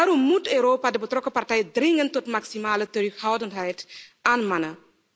Daarom moet Europa de betrokken partijen dringend tot maximale terughoudendheid aanmanen.